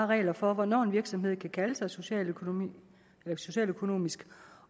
regler for hvornår en virksomhed kan kalde sig socialøkonomisk socialøkonomisk